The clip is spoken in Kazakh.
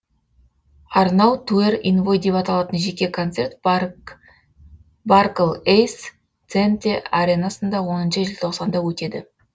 арнау туэр инвой деп аталатын жеке концерт барклэйс центе аренасында оныншы желтоқсанда өтеді